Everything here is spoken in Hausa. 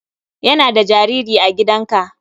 Yana da jariri a gidanka.